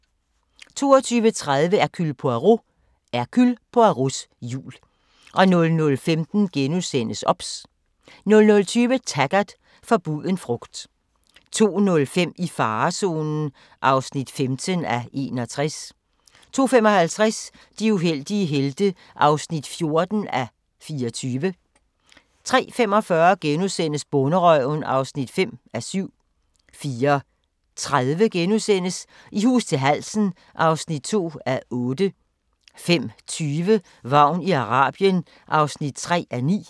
22:30: Hercule Poirot: Hercule Poirots jul 00:15: OBS * 00:20: Taggart: Forbuden frugt 02:05: I farezonen (15:61) 02:55: De uheldige helte (14:24) 03:45: Bonderøven (5:7)* 04:30: I hus til halsen (2:8)* 05:20: Vagn i Arabien (3:9)